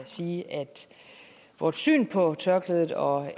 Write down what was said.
sige at vores syn på tørklædet og